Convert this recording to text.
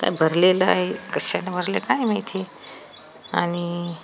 भरलेलं आहे कशानं भरलंय काय माहिती? आणि --